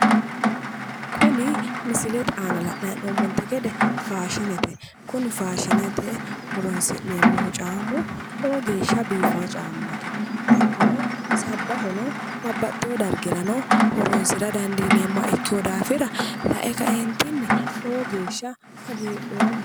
Kuni misilete aana la'nayi hee'noommonte gede faashinete kuni faashinete horonsi'neemmohu caammu lowo geeshsha biifawo caammati hattono sabbahono babbaxxewo dargirano horonsira dandiineemmoha ikkeewo daafira lae kaeentinni lowo geeshsha hagiidhoomma.